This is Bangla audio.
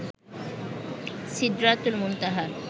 সিদরাতুল মুনতাহা